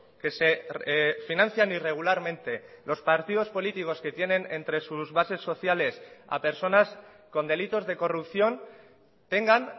que se financian irregularmente los partidos políticos que tienen entre sus bases sociales a personas con delitos de corrupción tengan